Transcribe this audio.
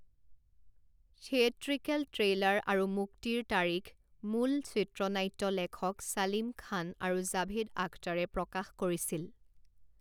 Theatrical trailer আৰু মুক্তিৰ তাৰিখ মূল চিত্ৰনাট্য লেখক ছালিম খান আৰু জাভেদ আখতাৰে প্ৰকাশ কৰিছিল।